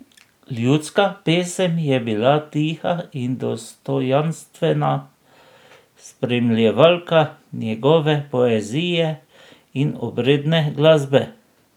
Ljudska pesem je bila tiha in dostojanstvena spremljevalka njegove poezije in obredne glasbe.